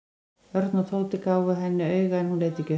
Örn og Tóti gáfu henni auga en hún leit ekki upp.